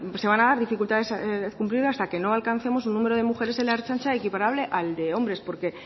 se van a dar dificultades para cumplirlo hasta que no alcancemos un número de mujeres en la ertzaintza equiparable al de hombres porque